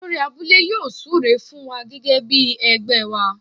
Olórí abúlé yóò súre fún wa gẹ́gẹ́ bí ẹgbẹ́ wa.